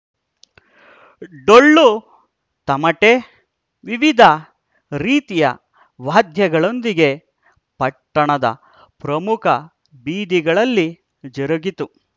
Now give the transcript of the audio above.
ಡೊಳ್ಳು ತಮಟೆ ವಿವಿಧ ರೀತಿಯ ವಾದ್ಯಗಳೊಂದಿಗೆ ಪಟ್ಟಣದ ಪ್ರಮುಖ ಬೀದಿಗಳಲ್ಲಿ ಜರುಗಿತು